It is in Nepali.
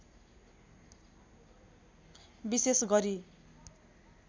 विशेष गरी